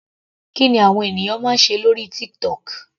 Kí ni àwọn ènìyàn máa ń ṣe lórí TikTok.